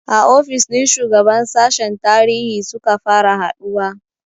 A ofis ɗin shugaban sashen tarihi suka fara haɗuwa